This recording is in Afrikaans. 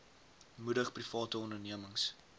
moedig private ondernemings